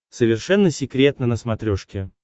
совершенно секретно на смотрешке